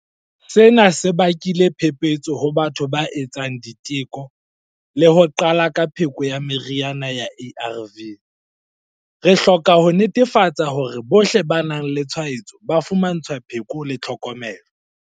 Sena se bakile phephetso ho batho ba etsang diteko le ho qala ka pheko ya meriana ya ARV. Re hloka ho netefatsa hore bohle ba nang le tshwaetso ba fumantshwa pheko le tlhokomelo.